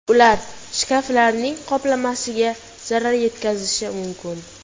Ular shkaflarning qoplamasiga zarar yetkazishi mumkin.